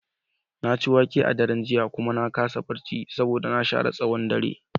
Na ci wake a daren jiya kuma na kasa barci saboda na share tsawon dare.